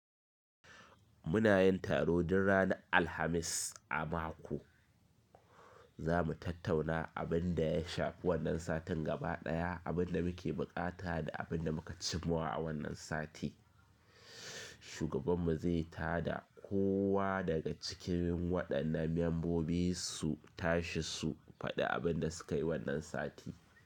Muna yin taro duk ranar Alhamis a mako. Za mu tattauna abin da ya shafi wannan satin gaba ɗaya, abin da muke buƙata da abin da muka cimawa a wannan sati. Shugaban mu zai tada kowa daga cikin waɗannan membobi su tashi su faɗi abin da suka yi wannan sati.